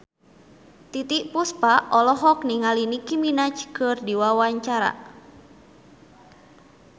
Titiek Puspa olohok ningali Nicky Minaj keur diwawancara